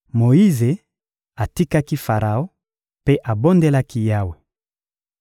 Moyize atikaki Faraon mpe abondelaki Yawe.